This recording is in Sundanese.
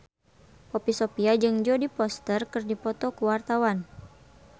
Poppy Sovia jeung Jodie Foster keur dipoto ku wartawan